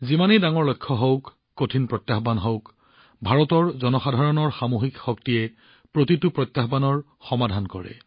যিমানেই ডাঙৰ লক্ষ্য নহওক যিমানেই কঠিন প্ৰত্যাহ্বান নহওক ভাৰতৰ জনসাধাৰণৰ সামূহিক শক্তি সামূহিক শক্তিয়ে প্ৰতিটো প্ৰত্যাহ্বানৰ সমাধান কৰে